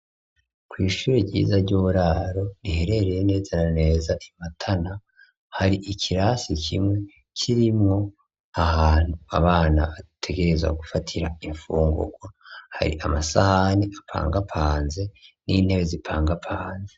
Kw'ishuri ryiza ry'uburaro riherereye nezananeza imatana, hari ikirasi kimwe kirimwo ahantu abana bategerezwa gufatira imfungurwa hari amasahani apangapanze n'intebe zipangapanze.